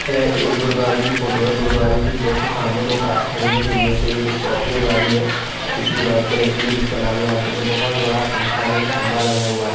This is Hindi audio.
यह एक गुरूद्वारे की फोटो है गुरुद्वारे के जस्ट सामने दो कार खड़ी हुई है जिनमे से एक स्कार प्यु गाड़ी है दूसरी वाईट कलर की है नाम भी याद नही है बहोत बड़ा पंखा नही खम्बा लगा हुआ है।